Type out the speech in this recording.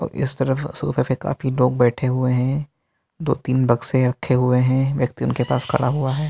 और इस तरफ सोफे पे काफी लोग बैठे हुए हैं। दो थीं बक्से रखे हुवे हैं व्यक्ति उनके पास खड़ा हुआ है।